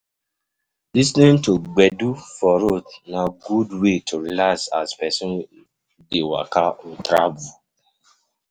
Lis ten ing to gbedu for road na good way to relax as person dey waka or travel